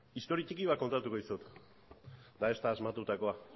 historia txiki bat kontatuko dizut eta ez da asmatutakoa